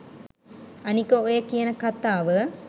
අනික ඔය කියන කතාව